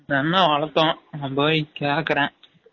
ஒரு என்னம் வலதோம் நா போய் கேக்ரேன்